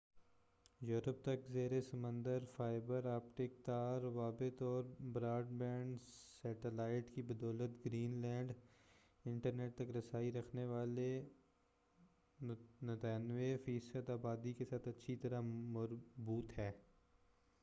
Europe تک زیر سمندر فائبر آپٹک تار روابط اور براڈ بینڈ سیٹلائٹ کی بدولت گرین لینڈ انٹرنیٹ تک رسائی رکھنے والی 93 فیصد آبادی کے ساتھ اچھی طرح مربوط ہے